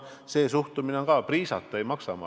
See suhtumine on ka õige, et priisata ei maksa.